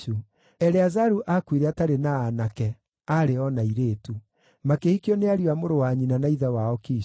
Eleazaru aakuire atarĩ na aanake; aarĩ o na airĩtu. Makĩhikio nĩ ariũ a mũrũ wa nyina na ithe wao Kishu.